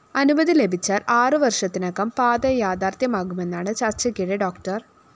അനുമതി ലഭിച്ചാല്‍ ആറ് വര്‍ഷത്തിനകം പാത യാഥാര്‍ഥ്യമാകുമെന്നാണ് ചര്‍ച്ചയ്ക്കിടെ ഡോ